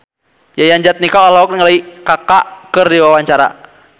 Yayan Jatnika olohok ningali Kaka keur diwawancara